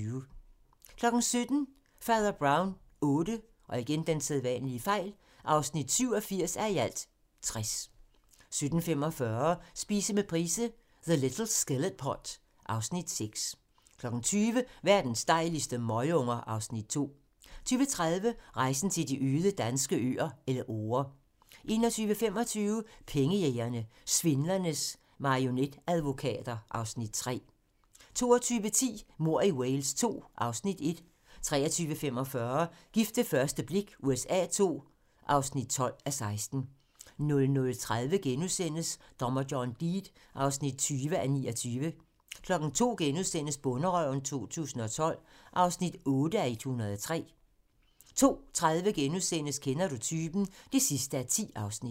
17:00: Fader Brown VIII (87:60) 17:45: Spise med Price - The little skillet pot (Afs. 6) 20:00: Verdens dejligste møgunger (Afs. 2) 20:30: Rejsen til de øde danske øer - Elleore 21:25: Pengejægerne - Svindlernes marionetadvokater (Afs. 3) 22:10: Mord i Wales II (Afs. 1) 23:45: Gift ved første blik USA II (12:16) 00:30: Dommer John Deed (20:29)* 02:00: Bonderøven 2012 (8:103)* 02:30: Kender du typen? (10:10)*